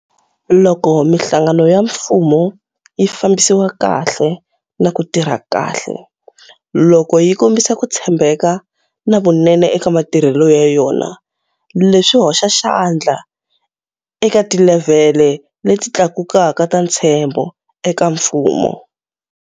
Loko mihlangano ya mfumo yi fambisiwa kahle na ku tirha kahle, loko yi kombisa ku tshembeka na vunene eka matirhelo ya yona, leswi hoxa xandla eka tilevhele leti tlakukaka ta ntshembo eka mfumo.